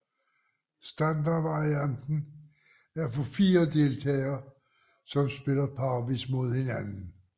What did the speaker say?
Standardvarianten er for fire deltagere som spiller parvis mod hinanden